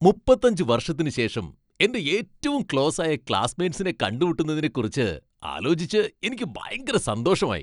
മുപ്പത്തഞ്ച് വർഷത്തിനുശേഷം എന്റെ ഏറ്റവും ക്ലോസ് ആയ ക്ലാസ്സ്മേറ്റ്സിനെ കണ്ടുമുട്ടുന്നതിനെക്കുറിച്ച് ആലോചിച്ച് എനിക്ക് ഭയങ്കര സന്തോഷമായി.